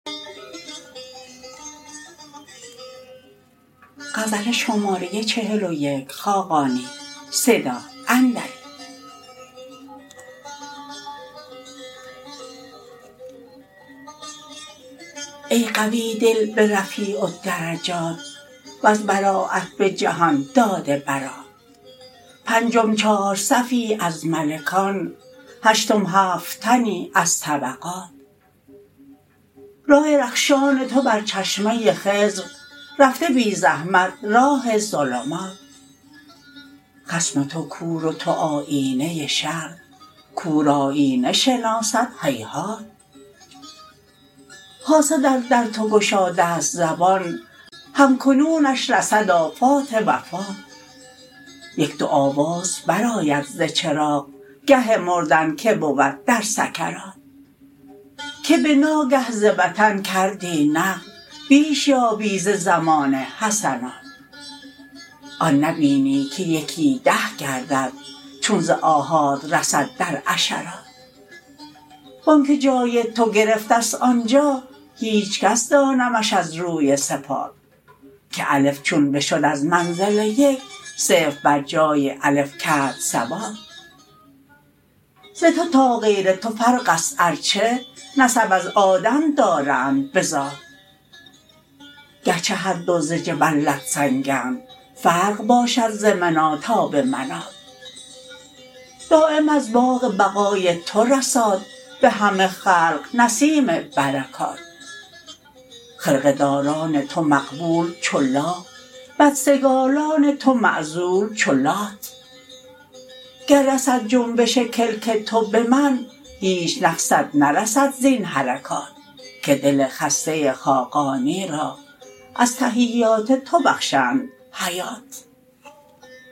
ای قوی دل به رفیع الدرجات وز برایت به جهان داده برات پنجم چار صفی از ملکان هشتم هفت تنی از طبقات رای رخشان تو بر چشمه خضر رفته بی زحمت راه ظلمات خصم تو کور و تو آیینه شرع کور آیینه شناسد هیهات حاسد از درد گشاده است زبان هم کنونش رسد آفات وفات یک دو آواز برآید ز چراغ گه مردن که بود در سکرات که به ناگه ز وطن کردی نقل بیش یابی ز زمانه حسنات آن نبینی که یکی ده گردد چون ز آحاد رسد در عشرات وآنکه جای تو گرفته است آنجا هیچ کس دانمش از روی صفات که الف چون بشد از منزل یک صفر بر جای الف کرد ثبات از تو تا غیر تو فرق است ارچه نسب از آدم دارند به ذات گرچه هر دو ز جلبت سنگند فرق باشد ز منی تا به منات دایم از باغ بقای تو رساد به همه خلق نسیم برکات خرقه داران تو مقبول چو لا بدسگالان تو معزول چو لات گر رسد جنبش کلک تو به من هیچ نقصت نرسد زین حرکات که دل خسته خاقانی را از تحیات تو بخشند حیات